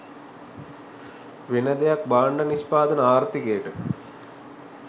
වෙන දෙයක් භාණ්ඩ නිෂ්පාදන ආර්ථිකයකට